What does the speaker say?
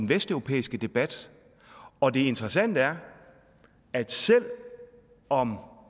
vesteuropæiske debat og det interessante er at selv om